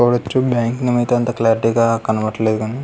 వాడు వచ్చే bank name అయితే అంత క్లారిటీ గా కనపడట్లేదు కానీ --